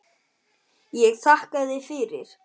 Ég þakkaði fyrir.